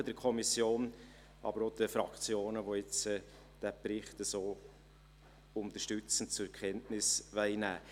Ich danke der Kommission, aber auch den Fraktionen, die den Bericht jetzt so unterstützend zur Kenntnis nehmen wollen.